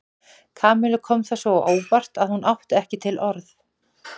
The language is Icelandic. Kamillu kom það svo á óvart að hún átti ekki til orð.